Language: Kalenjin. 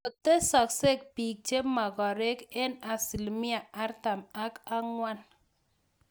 Kokotesak biik chemagareek eng asilimia artam ak angwan